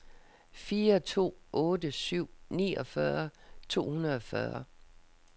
fire to otte syv niogfyrre to hundrede og fyrre